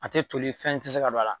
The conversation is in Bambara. A tɛ toli fɛn ti se ka don a la..